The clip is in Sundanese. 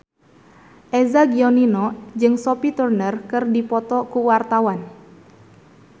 Eza Gionino jeung Sophie Turner keur dipoto ku wartawan